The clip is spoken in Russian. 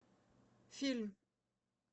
фильм